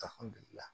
Alhammudulila